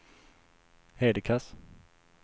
Hedekas